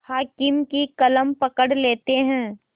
हाकिम की कलम पकड़ लेते हैं